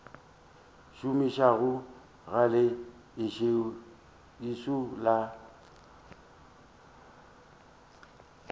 šomišago ga le ešo la